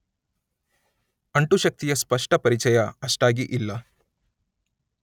ಅಂಟುಶಕ್ತಿಯ ಸ್ಪಷ್ಟ ಪರಿಚಯ ಅಷ್ಟಾಗಿ ಇಲ್ಲ.